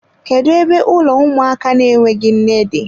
Kedu ebe ụlọ ụmụaka na-enweghị nne dị?